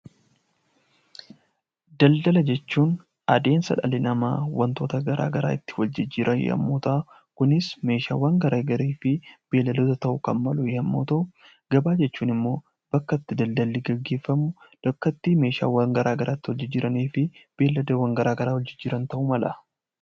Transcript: Daldala jechuun adeemsa dhalli namaa wantoota garaagaraa wal jijjiiran yommuu ta'u, kunis meeshaawwan garaagaraa fi beeyladoota ta'uu kan malu yommuu ta'u, gabaa jechuun immoo bakka itti gabaan gaggeeffamu bakka itti meeshaawwan garaagaraa wal jijjiiranii fi beeylada garaagaraa wal jijjiiran ta'uu mala.